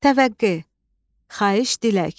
Təvəqqa, xahiş, dilək.